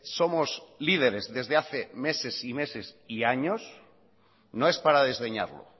somos líderes desde hace meses y meses y años no es para desdeñarlo